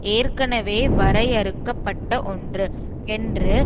ஏற்கனவே வரையறுக்க பட்ட ஒன்று என்று